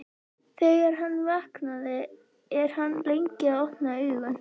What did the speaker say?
Þegar hann vaknar er hann lengi að opna augun.